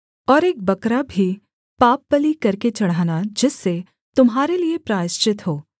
और एक बकरा भी पापबलि करके चढ़ाना जिससे तुम्हारे लिये प्रायश्चित हो